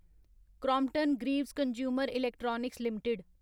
Crompton Greaves consumer electricals limited